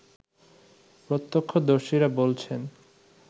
প্রত্যক্ষদর্শীরা বলছেন